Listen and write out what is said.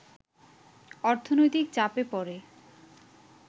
অর্থনৈতিক চাপে পড়ে